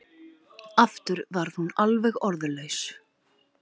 Aftur varð hún alveg orðlaus.